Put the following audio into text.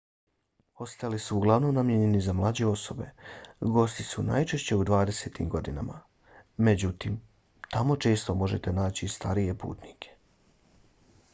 hosteli su uglavnom namijenjeni za mlađe osobe. gosti su najčešće u dvadesetim godinama. međutim tamo često možete naći i starije putnike